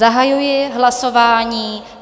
Zahajuji hlasování.